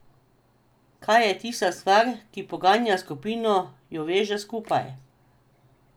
Kaj je tista stvar, ki poganja skupino, jo veže skupaj?